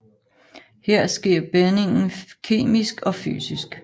Her sker bindingen kemisk og fysisk